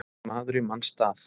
Maður í manns stað